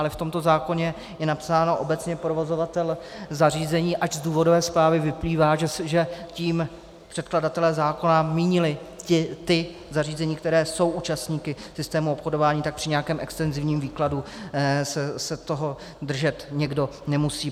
Ale v tomto zákoně je napsáno obecně provozovatel zařízení, ač z důvodové zprávy vyplývá, že tím předkladatelé zákona mínili ta zařízení, která jsou účastníky systému obchodování, tak při nějakém extenzivním výkladu se toho držet někdo nemusí.